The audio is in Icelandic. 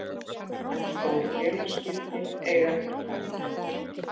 En stór félagsskipti eiga eftir að fara í gegn.